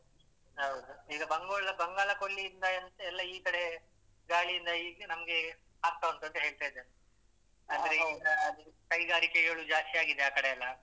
ಹೌದು, ಈಗ ಬಂಗೋಳ~ ಬಂಗಾಳ ಕೋಲ್ಲಿಯಿಂದ ಎಂತ ಎಲ್ಲ ಈ ಕಡೆ ಗಾಳಿಯಿಂದ ಇಚೆ ನಮ್ಗೆ ಆಗ್ತಾವುಂಟು ಅಂತ ಹೇಳ್ತಿದಾರೆ. ಆದ್ರೆ ಈಗ ಕೈಗಾರಿಕೆ ಎಲ್ಲ ಜಾಸ್ತಿ ಆಗಿದೆ ಆಕಡೆಯೆಲ್ಲ.